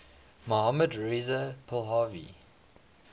mohammad reza pahlavi